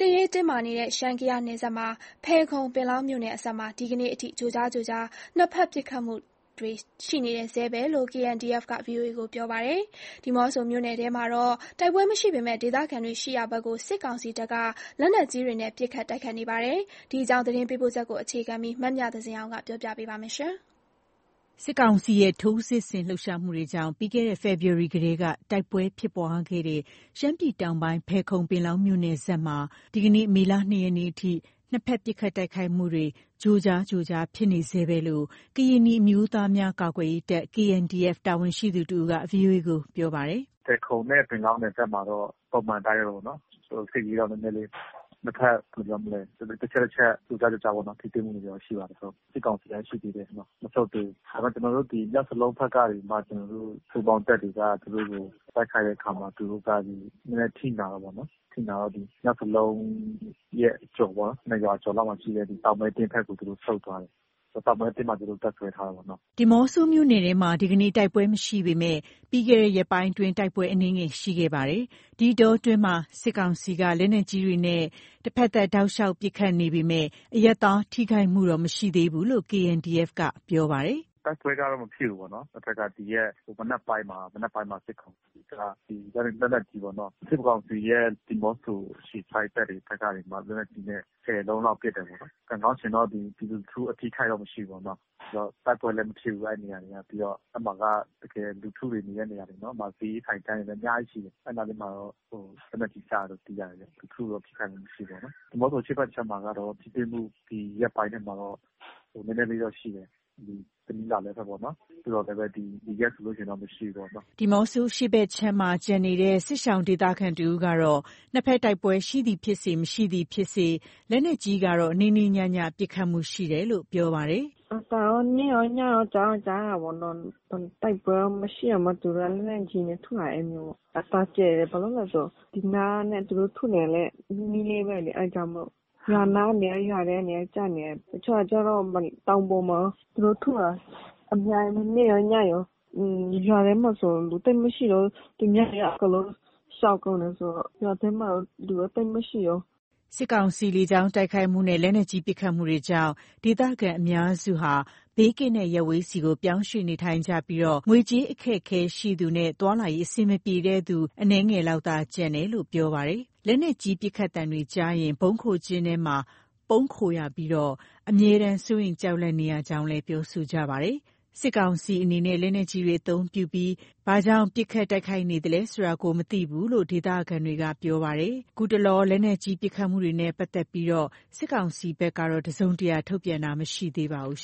စ်ရေးတင်းမာနေတဲ့ ရှမ်း−ကယားနယ်စပ်က ဖယ်ခုံ−ပင်လောင်းမြို့နယ်စပ်မှာ ဒီကနေ့ထိ ကြိုကြားကြိုကြား နှစ်ဖက် ပစ်ခတ်တိုက်ခိုက်မှုတွေ ရှိနေဆဲပဲလို့ KNDF က VOA ကို ပြောပါတယ်။ ဒီးမော့ဆိုမြို့နယ်ထဲမှာတော့ တိုက်ပွဲမရှိပေမယ့် ဒေသခံရှိရာဘက် စစ်ကောင်စီတပ်က လက်နက်ကြီးတွေနဲ့ ပစ်ခတ် တိုက်ခိုက်နေပါတယ်။ ဒီအကြောင်း သတင်းပေးပို့ချက်ကို အခြေခံပြီး မမြသဇင်အောင်က တင်ပြပေးပါမယ်။ စစ်ကောင်စီရဲ့ ထိုးစစ်ဆင် လှုပ်ရှားမှုတွေကြောင့် ပြီးခဲ့တဲ့ ဖေဖော်ဝါရီလကတည်းက တိုက်ပွဲဖြစ်ပွားခဲ့တဲ့ ရှမ်းပြည်တောင်းပိုင်း ဖယ်ခုံ-ပင်လောင်း မြို့နယ်စပ်မှာ ဒီကနေ့ မေလ ၂ရက်နေ့အထိ နှစ်ဖက် ပစ်ခတ်တိုက်ခိုက်မှုတွေ ကြိုကြားကြိုကြား ဖြစ်နေဆဲပဲလို့ ကရင်နီအမျိုးသားများကာကွယ်ရေးတပ် တာဝန်ရှိသူတဦးက VOA ကို ခုလို ပြောပါတယ်။ “ဖယ်ခုံနဲ့ ပင်လောင်းနယ်စပ်မှာတော့ ပုံမှန်အတိုင်းပဲပေါ့နော်၊ စစ်ရေးတော့ နည်းနည်းလေး နှစ်ဖက် ဘယ်လိုပြောမလဲ တချက်တချက် ကြိုကြားကြိုကြားပေါ့နော်၊ ထိတွေ့မှုတွေတော့ ရှိဆဲဖြစ်ပါတယ် ဟုတ်။ စစ်ကောင်စီက ရှိသေးတယ်နော်… မဆုတ်သေးဘူး၊ ဒါပေမယ့် ကျနော်တို့ ဒီ မြောက်စလုံးဖက်ကနေပြီးမှ ကျနော်တို့ ပူးပေါင်းတပ်တွေက သူတို့ကို တိုက်ခိုက်တဲ့အခါမှာ သူတို့က နည်းနည်း အထိနာတာပေါ့နော်။ အထိနာတော့ မြောက်စလုံးရဲ့ အကျော်ပေါ့နော် နှစ်ရွာကျော်လောက်မှာရှိတဲ့ တောင်မဲ့သင်းဘက်ကို သူတို့ ဆုတ်သွားတယ်၊ တောင်မဲသင်းမှာ သူတို့တပ်စွဲတယ်ပေါ့နော်။” ဒီးမော့ဆိုမြို့နယ်ထဲမှာ ဒီကနေ့ တိုက်ပွဲမရှိပေမယ့် ပြီးခဲ့တဲ့ ရက်ပိုင်းအတွင်း တိုက်ပွဲအနည်းငယ်ရှိခဲ့ပါတယ်။ ဒီအတောအတွင်း စစ်ကောင်စီက လက်နက်ကြီးတွေနဲ့ တဖက်သတ် တောက်လျောက် ပစ်ခတ်နေပေမယ့် အရပ်သားထိခိုက်မှုတော့ မရှိသေးဘူးလို့ KNDF က ပြောပါတယ်။ “တိုက်ပွဲကတော့ မဖြစ်ဘူးပေါ့နော်၊ အဲ့ဘက်က ဒီရက်မနက်ပိုင်းမှာ စစ်ကောင်စီက ဒီလက်နက်ကြီးပေါ့နော်၊ စစ်ကောင်စီရဲ့ ဒီးမော့ဆို အခြေစိုက် တပ်တွေဘက်ကနေပြီးမှ လက်နက်ကြီးနဲ့ ၁၀ လုံးလောက် ပစ်တယ်ပေါ့နော်။ ကံကောင်းချင်တော့ ဒီ ပြည်သူလူထု အထိအခိုက်တော့ မရှိဘူးပေါ့နော်။ နောက်တိုက်ပွဲလည်း မဖြစ်ဘူး အဲ့နေရာတွေက။ ပြီးတော့ အဲ့မှာက တကယ်လူထုတွေ နေတဲ့နေရာတွေနော်။ အဲ့နားတွေမှာတော့ လက်နက်ကြီးကျတယ်လို့ သိရတယ်ဗျ။ လူထုတော့ ထိခိုက်မှုမရှိဘူးပေါ့နော်။ ဒီးမော့ဆိုအရှေ့ဖက်ခြမ်းမှာကတော့ ထိတွေ့မှု ဒီရက်ပိုင်းထဲမှာတော့ နည်းနည်းလေးတော့ရှိတယ်။ တနီးလားလဲဘက်ပေါ့နော်၊ သို့သော်လည်းပဲ ဒီရက်ဆိုလို့ရှိရင် မရှိဘူးပေါ့နော်။” ဒီးမော့ဆို အရှေ့ဖက်ခြမ်းမှာ ကျန်ရှိနေတဲ့ စစ်ရှောင် ဒေသခံတဦးကတော့ နှစ်ဖက်တိုက်ပွဲ ရှိသည်ဖြစ်စေ၊ မရှိသည်ဖြစ်စေ လက်နက်ကြီးကတော့ နေ့နေ့ညည ပစ်ခတ်မှုရှိနေတယ်လို့ ပြောပါတယ်။ “အသံတော့ နေ့ရောညရော ကြားတော့ကြားရတယ်ပေါ့နော်။ တိုက်ပွဲက မရှိတောင်မှ သူတို့က လက်နက်ကြီးနဲ့ ထုလာတယ် အဲ့လိုပေါ့။ အသံကျယ်တယ်။ ဘာလို့လဲဆို ဒီနားနဲ့ သူတို့ထုနေတာနဲ့ နီးနီးလေးပဲလေ၊ အဲ့ဒါကြောင့်မို့ အဲ့နား ရွာထဲတွေ ကျနေတယ်။ တချို့ကျတော့ တောင်ပေါ်မှာရော သူတို့ထုတာ အများကြီးပဲ။ နေ့ရော ညရော၊ ရွာထဲမှာဆို လူသိပ်မရှိတော့ဘူး။ သူများတွေက အကုန်လုံး ရှောင်ကုန်းတယ်ဆိုတော့ ရွာထဲမှာတော့ လူတော့ သိပ်မှရှိတော့ဘူး။” စစ်ကောင်စီရဲ့ လေကြောင်းတိုက်ခိုက်မှုနဲ့ လက်နက်ကြီး ပစ်ခတ်မှုတွေကြောင့် ဒေသခံ အများစုက ဘေးကင်းတဲ့ ရပ်ဝေးဆီ ပြောင်းရွှေ့နေထိုင်ကြပြီး ငွေကြေးအခက်အခဲရှိသူနဲ့ သွားလာရေး အဆင်မပြေတဲ့သူ အနည်းငယ်လောက်သာ ကျန်ရှိနေတယ်လို့ ပြောပါတယ်။ လက်နက်ကြီးပစ်ခတ်သံတွေကြားရရင် ဗုံးခိုကျဉ်းထဲမှာ ပုန်းခိုနေကြရပြီး အမြဲတမ်း စိုးရိမ် ကြောက်လန့်နေရကြောင်း ပြောဆိုပါတယ်။ စစ်ကောင်စီအနေနဲ့ လက်နက်ကြီးတွေ အသုံးပြုပြီး ဦးတည်ရာမရှိ ဘာကြောင့် ပစ်ခတ်တိုက်ခိုက်နေသလဲဆိုတာ မသိဘူးလို့ ဒေသခံတွေက ပြောပါတယ်။ ခုတတလော လက်နက်ကြီးပစ်ခတ်မှုတွေနဲ့ ပတ်သက်လို့ စစ်ကောင်စီဘက်က တစုံတရာ ထုတ်ပြန်တာ မရှိသေးပါဘူး